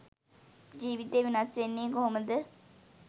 ජීවිතේ වෙනස් වෙන්නේ කොහොමද?